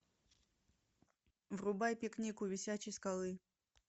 врубай пикник у висячей скалы